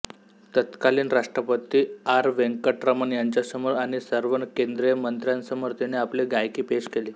तत्कालीन राष्ट्रपती आर वेंकटरमण यांच्यासमोर आणि सर्व केंदीय मंत्र्यांसमोर तिने आपली गायकी पेश केली